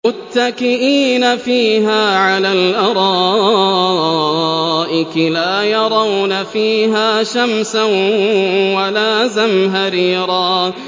مُّتَّكِئِينَ فِيهَا عَلَى الْأَرَائِكِ ۖ لَا يَرَوْنَ فِيهَا شَمْسًا وَلَا زَمْهَرِيرًا